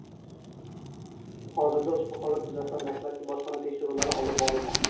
Hozirda ushbu holat yuzasidan dastlabki bojxona tekshiruvlari olib borilmoqda.